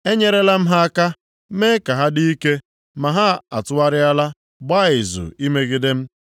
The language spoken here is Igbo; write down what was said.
Enyerela m ha aka, mee ka ha dị ike, ma ha atụgharịala gbaa izu imegide m.